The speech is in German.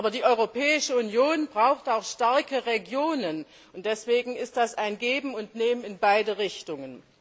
Aber die Europäische Union braucht auch starke Regionen, und deswegen ist das ein Geben und Nehmen in beide Richtungen.